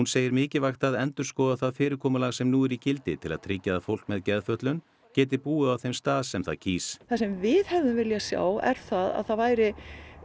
segir mikilvægt að endurskoða það fyrirkomulag sem nú er í gildi til að tryggja að fólk með geðfötlun geti búið á þeim stað sem það kýs það sem við hefðum viljað sjá er það að það væri